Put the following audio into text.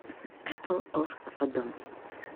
эпл оф содом